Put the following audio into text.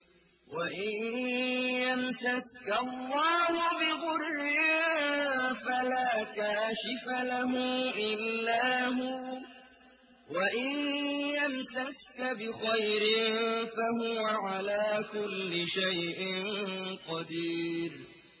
وَإِن يَمْسَسْكَ اللَّهُ بِضُرٍّ فَلَا كَاشِفَ لَهُ إِلَّا هُوَ ۖ وَإِن يَمْسَسْكَ بِخَيْرٍ فَهُوَ عَلَىٰ كُلِّ شَيْءٍ قَدِيرٌ